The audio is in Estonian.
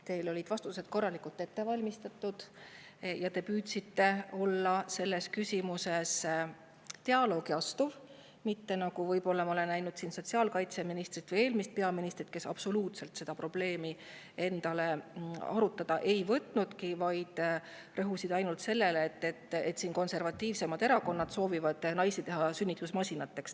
Teil olid vastused korralikult ette valmistatud ja te püüdsite selles küsimuses dialoogi astuda, mitte nii nagu me oleme siin näinud sotsiaalkaitseministri või eelmise peaministri puhul, kes seda probleemi endale absoluutselt ei, vaid rõhusid ainult sellele, et konservatiivsemad erakonnad soovivad naisi sünnitusmasinateks.